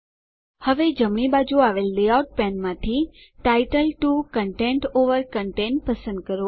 હવે જમણી બાજુ આવેલ લેઆઉટ પેનમાંથી ટાઇટલ 2 કન્ટેન્ટ ઓવર કન્ટેન્ટ પસંદ કરો